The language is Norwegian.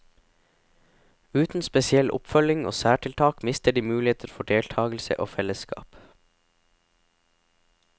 Uten spesiell oppfølging og særtiltak mister de muligheter for deltagelse og fellesskap.